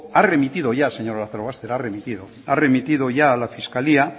ha remitido ya señor lazarobaster a la fiscalía